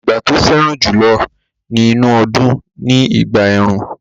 Ìgbà tó fẹ́ràn jùlọ nínú ọdún ni ìgbà ẹ̀rùn